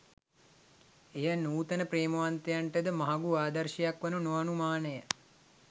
එය නුතන ප්‍රේමවන්තයන්ට ද මහඟු ආදර්ශයක් වනු නොඅනුමාන ය